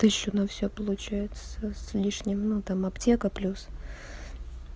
тысячу на всё получается с с лишним ну там аптека плюс